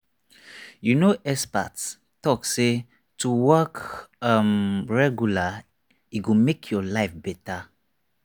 you know experts talk say to walk um regular e go make your life better.